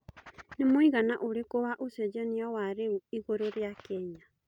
nĩ mũigana ũrikũ wa ũcejanĩa wa rĩu igũru rĩa Kenya